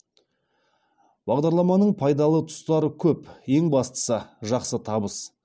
бағдарламаның пайдалы тұстары көп ең бастысы жақсы табыс